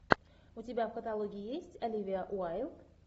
у тебя в каталоге есть оливия уайлд